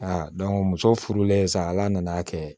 muso furulen sa ala nana'a kɛ